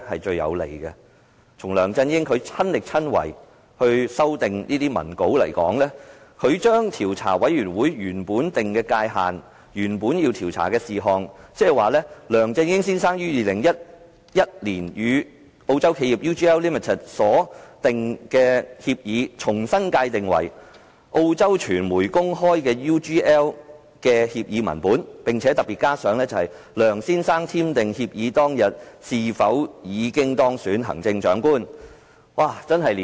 讓我們看看梁振英親自修訂的文稿，他將專責委員會原本界定的調查事項："梁振英先生於2011年與澳洲企業 UGL Limited 所訂協議"，重新界定為："澳洲傳媒公開的 UGL 協議文本"，並特別加上："梁先生簽訂協議當日是否已當選行政長官"。